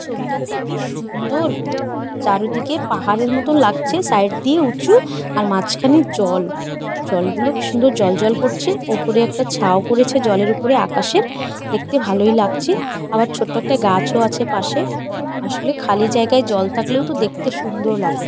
ছবিটাতে কি সুন্দর। চারিদিকে পাহাড়ের মত লাগছে সাইড দিয়ে উঁচু। আর মাঝখানের জল। জল গুলো কি সুন্দর জ্বলজ্বল করছে। ওপরে একটা ছাও পরেছে জলের উপরে আকাশের দেখতে ভালই লাগছে। আবার ছোট একটা গাছও আছে পাশে। আসলে খালি জায়গায় জল থাকলেও তো দেখতে সুন্দর লাগে।